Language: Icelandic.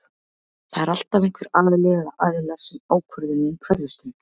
Það er alltaf einhver aðili eða aðilar sem ákvörðunin hverfist um.